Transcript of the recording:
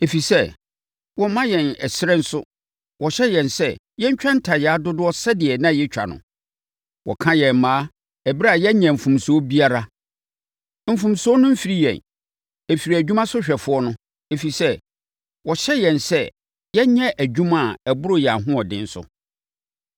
ɛfiri sɛ, wɔmma yɛn ɛserɛ nso wɔhyɛ yɛn sɛ yɛntwa ntayaa dodoɔ sɛdeɛ na yɛtwa no. Wɔka yɛn mmaa ɛberɛ a yɛnyɛɛ mfomsoɔ biara. Mfomsoɔ no mfiri yɛn. Ɛfiri adwumasohwɛfoɔ no, ɛfiri sɛ, wɔhyɛ yɛn sɛ yɛnyɛ adwuma a ɛboro yɛn ahoɔden so.”